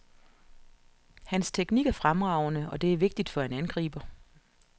Hans teknik er fremragende, og det er vigtigt for en angriber.